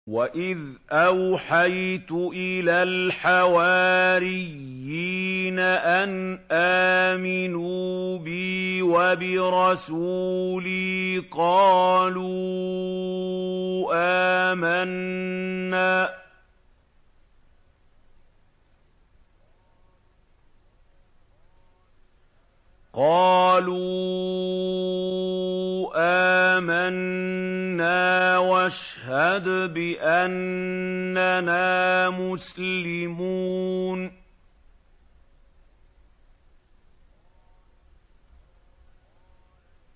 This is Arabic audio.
وَإِذْ أَوْحَيْتُ إِلَى الْحَوَارِيِّينَ أَنْ آمِنُوا بِي وَبِرَسُولِي قَالُوا آمَنَّا وَاشْهَدْ بِأَنَّنَا مُسْلِمُونَ